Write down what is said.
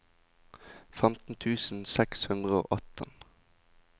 femten tusen seks hundre og atten